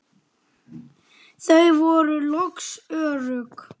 Þau voru loks örugg.